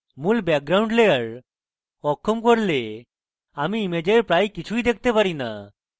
আমি যখন মূল background layer অক্ষম করি তখন আমি ইমেজের প্রায় কিছুই দেখতে পারি না